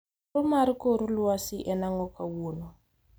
Koro mar kor lwasi en ang'o kawuono